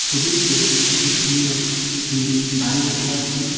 ছবিটিতে একটি সুন্দর বিল্ডিং বাড়ি দেখতে পাচ্ছি।